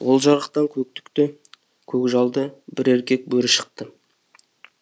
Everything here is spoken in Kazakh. ол жарықтан көк түкті көк жалды бір еркек бөрі шықты